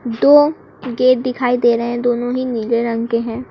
दो गेट दिखाई दे रहे हैं दोनों ही नीले रंग के हैं।